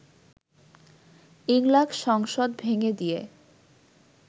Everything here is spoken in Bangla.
ইংলাক সংসদ ভেঙে দিয়ে